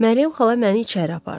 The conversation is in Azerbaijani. Məryəm xala məni içəri apardı.